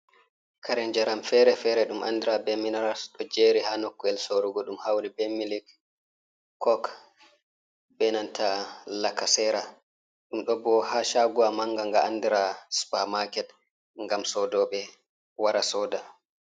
Kare njaram fere-fere ɗum andira be minaral ɗo jeri ha nokkure sorugo ɗum hauri be milik kok benanta lakasera, ɗum ɗo bo ha shaagowa manga manga andira supa maket ngam soodooɓe wara sooda.